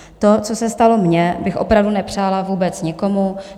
To, co se stalo mně, bych opravdu nepřála vůbec nikomu.